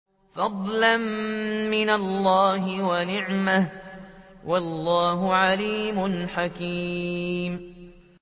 فَضْلًا مِّنَ اللَّهِ وَنِعْمَةً ۚ وَاللَّهُ عَلِيمٌ حَكِيمٌ